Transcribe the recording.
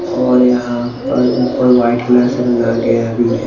और यहां पर ऊपर व्हाइट कलर से रंगा गया भी है।